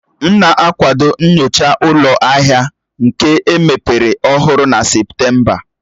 M na-akwado inyocha ụlọ ahịa nka emepere ọhụrụ na Septemba